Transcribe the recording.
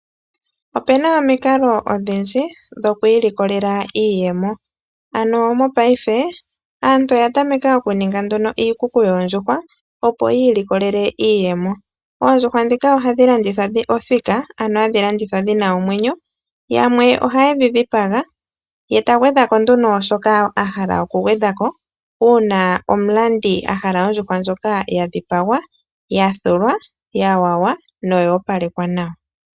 Opu na omikalo odhindji dhoku ilikolela iiyemo, ano mopaife aantu oya tameka okuninga nduno iikuku yoondjuhwa, opo yi ilikolele iiyemo. Oondjuhwa ndhika ohadhi landithwa othika, ano hadhi landithwa dhi na omwenyo, yamwe ohaye dhi dhipaga ye ta gwedhwa ko nduno shoka a hala okugwedha ko uuna omulandi a hala ondjuhwa ndjoka ya dhipagwa, ya thulwa, ya wawa noyoopalekwa nawa.